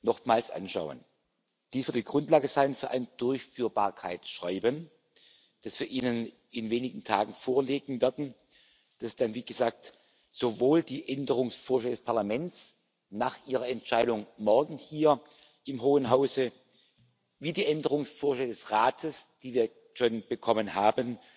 nochmals anschauen. Dies wird die Grundlage sein für ein Durchführbarkeitsschreiben, das wir Ihnen in wenigen Tagen vorlegen werden, das dann wie gesagt sowohl die Änderungsvorschläge des Parlaments nach Ihrer Entscheidung morgen hier im Hohen Hause als auch die Änderungsvorschläge des Rates, die wir schon bekommen haben,